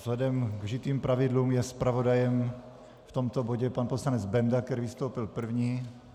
Vzhledem k vžitým pravidlům je zpravodajem v tomto bodě pan poslanec Benda, který vystoupil první.